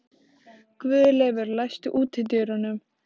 Guðleifur, læstu útidyrunum.